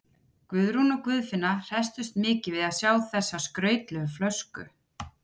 Guðrún og Guðfinna hresstust mikið við að sjá þessa skrautlegu flösku.